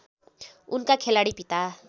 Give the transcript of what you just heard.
उनका खेलाडी पिता